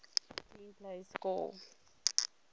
clean plays score